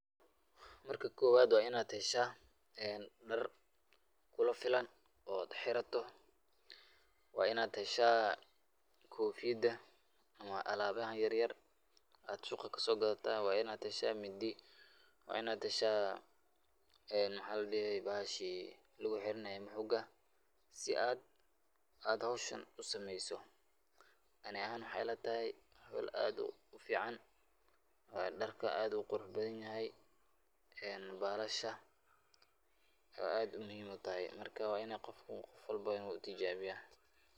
Marka kobaad waa inaad heshaa dar kula filan oo xirato, waa inaad heshaa kofiyada ama alaabaha yaryar aad suuqa kasoo gadataa, waa inaad heshaa Mindi, waa inaad heshaa bahashi lagu xiranaaye moxoga si aad howshan usameeso, ani ahaan waxeey ila tahay howl aad ufican, darka aad ayuu uqurux badan yahay, balasha aad ayeey muhiim utahay, marka qof walbo waa inuu tijaabiyo.